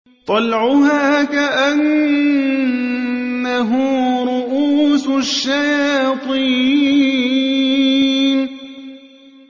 طَلْعُهَا كَأَنَّهُ رُءُوسُ الشَّيَاطِينِ